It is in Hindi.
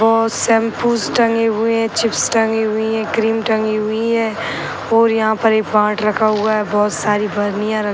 बहोत शैम्पूस टंगी हुए हैं चिप्स टंगी हुई हैं क्रीम टंगी हुई हैं और यहाँ रखा हुआ है। बहोत सारी बरनियाँ रखी --